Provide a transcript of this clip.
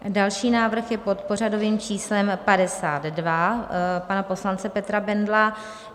Další návrh je pod pořadovým číslem 52 pana poslance Petra Bendla .